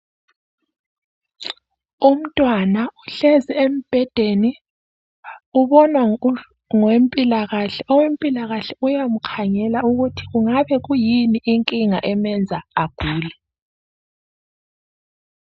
Umntwana uhlezi embhedeni ubonwa ngowempilakahle , owempilakahle uyamkhangela ukuthi kungabi kuyini inkinga emenza agule.